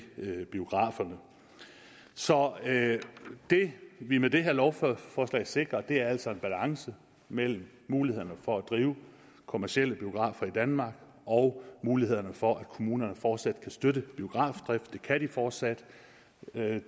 biograferne så det vi med det her lovforslag sikrer er altså en balance mellem mulighederne for at drive kommercielle biografer i danmark og mulighederne for at kommunerne fortsat kan støtte biografdrift det kan de fortsat det